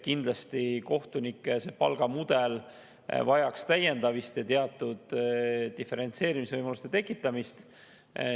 Kindlasti kohtunike palgamudel vajaks täiendamist ja teatud diferentseerimise võimaluste tekitamist.